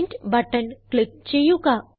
print button click ചെയ്യുക